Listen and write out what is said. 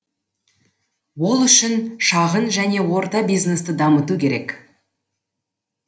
ол үшін шағын және орта бизнесті дамыту керек